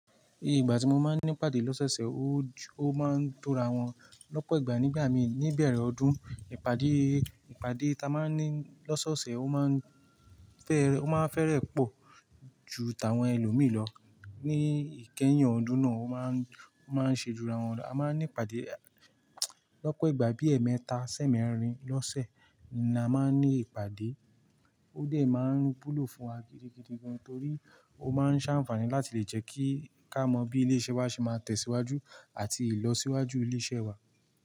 Igbà tí mo máa ń ní ìpàdé lọ́sẹ̀ṣẹ̀, ó máa ń tóra wọn lọ́pọ̀ ìgbà nígbà mi ní ìbèrè ọdún. Ìpàdé, ìpàdé ta máa ń ní lọ́sọ̀ọ̀ṣẹ̀, ó máa ń fẹ́rẹ̀, ó máa ń fẹ́rẹ̀ pọ̀ ju tàwọn ẹlòmíí lọ ní ìkẹyìn ọdún náà. Ó máa ń, ó máa ń ṣe jura wọn lọ. A máa ń ní ìpàdé lọ́pọ̀ ìgbà bí i ẹ̀ẹ̀mẹta, sẹ́mẹrin lọ́sẹ̀ ni a máa ń ní ìpàdé. Ó dẹ̀ máa ń wúlò fún wa gidigidi gan torí ó máa ń ṣáǹfààní láti lè jẹ́ kí a mọ bí ilé iṣẹ́ wa ṣe máa tẹ̀síwájú àti ìlọsíwájú ilé iṣẹ́ wa.